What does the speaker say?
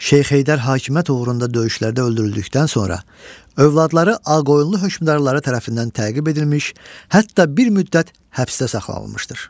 Şeyx Heydər hakimiyyət uğrunda döyüşlərdə öldürüldükdən sonra övladları Ağqoyunlu hökmdarları tərəfindən təqib edilmiş, hətta bir müddət həbsdə saxlanılmışdır.